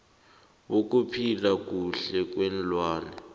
bokuphila kuhle kweenlwana